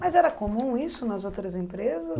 Mas era comum isso nas outras empresas?